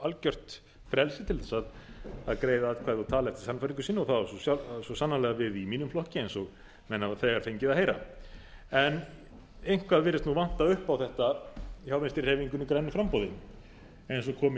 algjört frelsi til þess að greiða atkvæði og tala eftir sannfæringu sinni og það á svo sannarlega við í mínum flokki eins og menn hafa þegar fengið að heyra en eitthvað virðist vanta upp á þetta hjá vinstri hreyfingunni grænu framboði eins og kom í